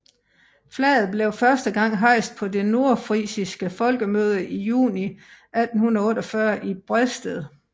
Flaget blev første gang hejst på det nordfrisiske folkemøde i juni 1848 i Bredsted